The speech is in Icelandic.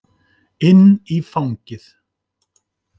Inn í fangið.